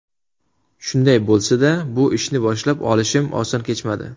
Shunday bo‘lsa-da, bu ishni boshlab olishim oson kechmadi.